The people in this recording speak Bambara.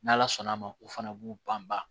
N'ala sɔnn'a ma u fana b'u banban